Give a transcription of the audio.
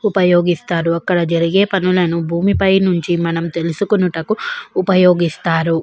ఉపయోగిస్తారు అక్కడ జరిగే పనులను భూమిపై నుంచి మనం తెలుసుకునుటకు ఉపయోగిస్తారు.